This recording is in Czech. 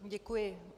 Děkuji.